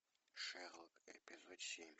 шерлок эпизод семь